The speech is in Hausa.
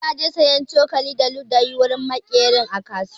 Isuhu zai saya cokali da ludayi wurin maƙeri a kasuwa.